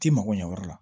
T'i mago ɲɛ yɔrɔ la